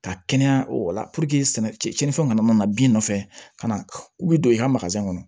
Ka kɛnɛya o la sɛnɛ tiɲɛnifɛnw kana na bin nɔfɛ ka na u bɛ don i ka kɔnɔ